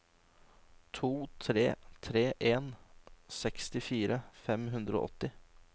to tre tre en sekstifire fem hundre og åtti